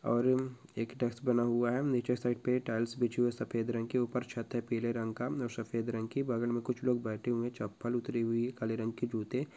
और उम्म एक डेस्क बना हुआ है नीचे के साइड पे टाइल्स बिछी हुई है सफेद रंग की ऊपर छत है पीले रंग का और सफेद रंग की बगल में कुछ लोग बैठे हुए चप्पल उतरी हुई काले रंग के जूते --